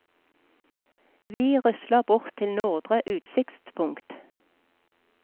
Vi rusler bort til nordre utsiktspunkt.